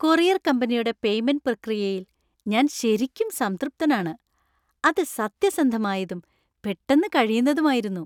Courier കമ്പനിയുടെ payment പ്രക്രിയയിൽ ഞാൻ ശരിക്കും സംതൃപ്തനാണ്. അത് സത്യസന്ധമായതും , പെട്ടന്ന് കഴിയുന്നതുമായിരുന്നു.